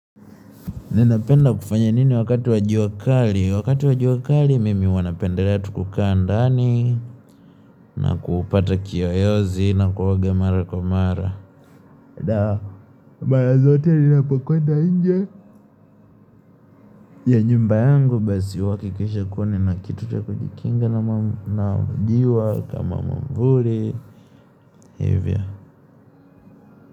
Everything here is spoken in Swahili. Ninapenda kufanya nini wakati wa jua kali, wakati wa jua kali mimi hua napendelea tu kukaa ndani, na kupata kiyoyozi, na kuoga mara kwa mara. Dah, mara zote ninapokwenda inje ya nyumba yangu basi huakikisha kua nina kitu cha kujikinga na jua kama mwavuli, hivyo.